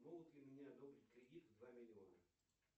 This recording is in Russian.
могут ли мне одобрить кредит в два миллиона